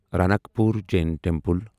Ranakpur Jain temple